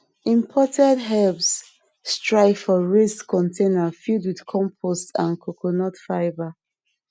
imported herbs strive for raised containers filled wit compost and coconut fibre